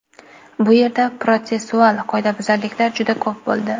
Bu yerda protsessual qoidabuzarliklar juda ko‘p bo‘ldi.